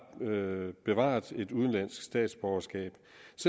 bevaret et udenlandsk statsborgerskab